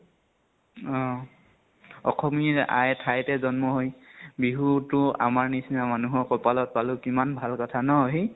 অ । আসমী আই ঠাইতে জন্ম হৈ বিহু তো আমাৰ নিচিনামানুহৰ কপালত পালো, কিমান ভাল কথা ন সি ?